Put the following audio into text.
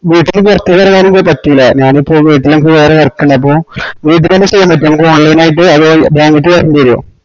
വീട്ടിന്ന് പൊറത്തേക്ക് വരാൻ ഇപ്പൊ പറ്റൂലാ ഞാനിപ്പോ വീട്ടിൽ എനക്ക് വേറെ work ഈൻഡ് അപ്പൊ വീട്തന്നെ ചെയ്യാൻപാറ്റോ നമ്ക് online നായിറ്റ് അതോ ഞാൻ അങ്ങാട്ടേക്ക് വരണ്ടവരുവ